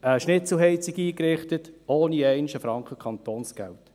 Wir haben eine Schnitzelheizung eingerichtet, ohne einen einzigen Franken Kantonsgeld.